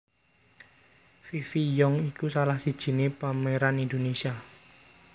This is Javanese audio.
Fifi Young iku salah sijiné pemeran Indonesia